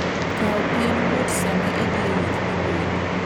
Kaw piend ng'ut sama idhi e wuoth mabor.